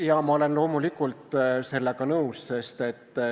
Jaa, ma olen loomulikult sellega nõus.